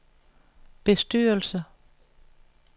bestyrelse